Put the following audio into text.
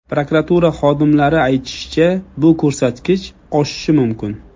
Prokuratura xodimlari aytishicha, bu ko‘rsatkich oshishi mumkin.